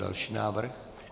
Další návrh.